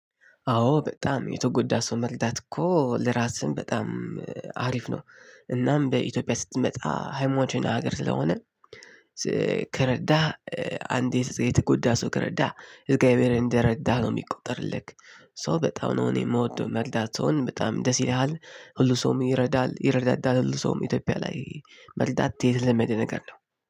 አዎ በጣም የተጎዳ ሰው መልዳት እኮ ለራስህም በጣም አሪፍ ነው። እናም በኢትዮጵያ ስትመጣ ሃይማኖተኛ ሀገር ስለሆነ። ከረዳህ አንዴ የተጎዳ ሰው ከረዳህ እዝጋቢሄር እንደ ረዳህ ነው የሚቆጥርልህ። ሰው በጣም ነው እኔ የምወደው መርዳት ሰውን በጣም ደስ ይለሃል። ሁሉ ሰውም ይረዳል ይረዳዳል ሁሉ ሰውም ኢትዮጵያ ላይ። መርጣት የተለመደ ነገር ነው።